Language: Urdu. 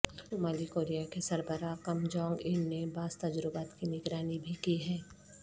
شمالی کوریا کے سربراہ کم جونگ ان نے بعض تجربات کی نگرانی بھی کی ہے